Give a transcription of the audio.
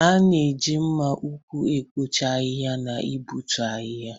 A na-eji mma ukwu ekpocha ahịhịa na igbutu ahịhịa.